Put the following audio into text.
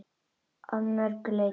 Að mörgu leyti.